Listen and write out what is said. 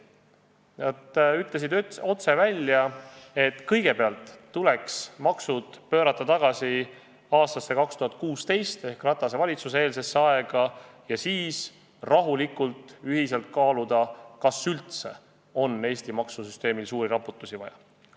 Tööandjad ütlesid otse välja, et kõigepealt tuleks maksud pöörata tagasi aastasse 2016 ehk Ratase valitsuse eelsesse aega ja siis rahulikult ühiselt kaaluda, kas üldse on Eesti maksusüsteemil suuri raputusi vaja.